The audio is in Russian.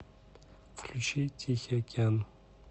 включи тихий океан